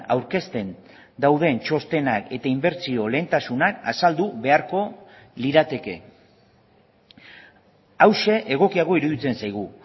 aurkezten dauden txostenak eta inbertsio lehentasunak azaldu beharko lirateke hauxe egokiago iruditzen zaigu